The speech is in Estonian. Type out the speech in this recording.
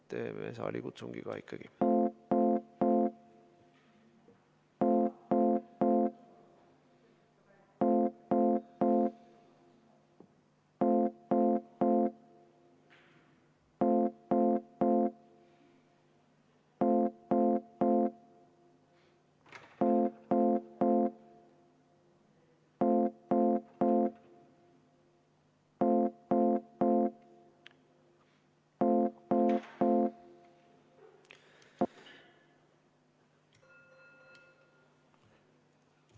Teen saalikutsungi ka.